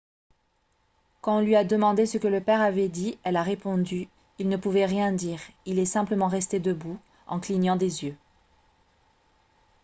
quand on lui a demandé ce que le père avait dit elle a répondu :« il ne pouvait rien dire il est simplement resté debout en clignant des yeux. »